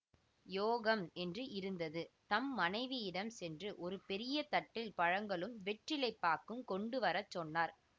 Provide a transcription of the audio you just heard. யோகம் என்று இருந்தது தம் மனைவியிடம் சென்று ஒரு பெரிய தட்டில் பழங்களும் வெற்றிலை பாக்கும் கொண்டுவரச் சொன்னார்